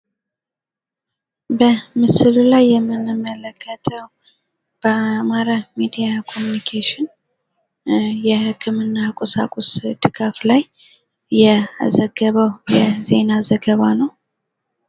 በምስሉ ላይ የምንመለከተው በአማራ ሚዲያ ካምንኬሽን የህክምና ቁሳቁስ ድጋፍ ላይ የዘገበው የዜና ዘገባ ነው።